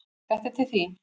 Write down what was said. Þetta er til þín